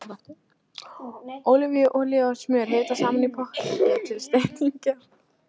Ólífuolía og smjör hitað saman í potti til steikingar.